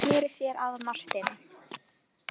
Gizur sneri sér að Marteini.